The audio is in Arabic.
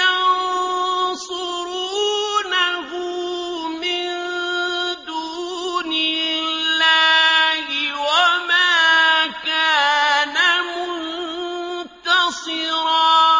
يَنصُرُونَهُ مِن دُونِ اللَّهِ وَمَا كَانَ مُنتَصِرًا